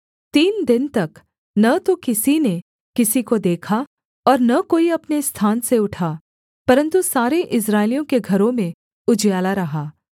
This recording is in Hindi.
तीन दिन तक न तो किसी ने किसी को देखा और न कोई अपने स्थान से उठा परन्तु सारे इस्राएलियों के घरों में उजियाला रहा